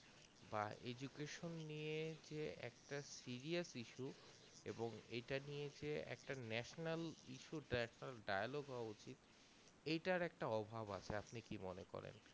বা education নিয়ে যে একটা serious issue এবং এটা নিয়ে যে একটা national issue dia dialogue হওয়া উচিত এটার একটা অভাব আছে আপনি কি মনে করেন